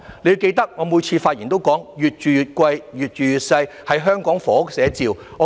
你要記得，我每次發言都說"'越住越貴、越住越細'是香港房屋寫照"。